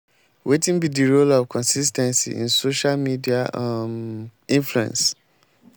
wetin be di role of consis ten cy in social media um influence?